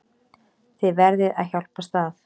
Þið verðið að hjálpast að.